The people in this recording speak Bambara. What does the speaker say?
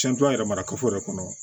Cɛn yɛrɛ mara kafo yɛrɛ kɔnɔ